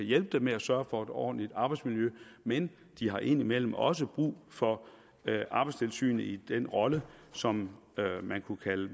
hjælpe dem med at sørge for et ordentligt arbejdsmiljø men de har indimellem også brug for arbejdstilsynet i den rolle som man kunne kalde